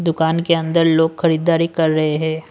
दुकान के अंदर लोग खरीददारी कर रहे हैं।